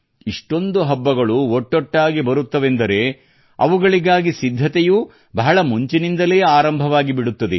ಇಷ್ಟೊಂದು ಹಬ್ಬಗಳು ಒಟ್ಟೊಟ್ಟಾಗಿ ಬರುತ್ತವೆಂದರೆ ಅವುಗಳಿಗಾಗಿ ಸಿದ್ಧತೆಯೂ ಬಹಳ ಮುಂಚಿನಂದಲೇ ಆರಂಭವಾಗಿಬಿಡುತ್ತದೆ